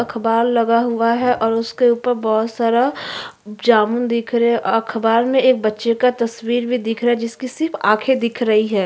अखबार लगा हुआ है और उसके ऊपर बहुत सारा जामुन दिख रहे हैं अखबार में एक बच्चे का तस्वीर भी दिख रहा है जिसकी सिर्फ आंखें दिख रही हैं।